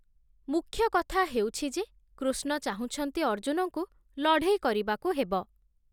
ମୁଖ୍ୟ କଥା ହେଉଛି ଯେ, କୃଷ୍ଣ ଚାହୁଁଛନ୍ତି ଅର୍ଜୁନଙ୍କୁ ଲଢ଼େଇ କରିବାକୁ ହେବ ।